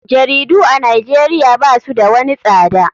Jaridu a nijeria basu da wani tsada.